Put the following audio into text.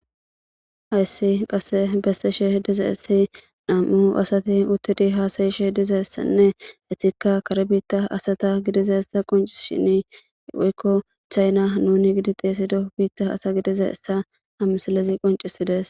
Hayse qassi bessen diza asay namu asati uttidi haasayishe dizaysanne, etikka kare bitta asata gidizayssa qonccishshinenne, woyko Chaina nu giddi thessido biitta asa gidizayssa ha misilezi qonccisidees.